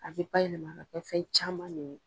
A bɛ ba yɛlɛma kɛ fɛn caman de ye.